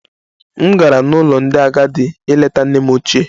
M gara n'ụlọ ndị agadi ileta nne m ochie